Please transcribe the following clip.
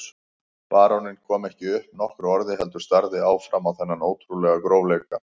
Baróninn kom ekki upp nokkru orði heldur starði áfram á þennan ótrúlega grófleika.